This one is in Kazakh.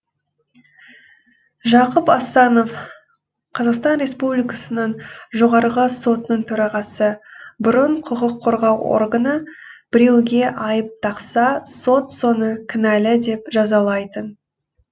жақып асанов қазақстан республикасының жоғарғы сотының төрағасы бұрын құқық қорғау органы біреуге айып тақса сот соны кінәлі деп жазалайтын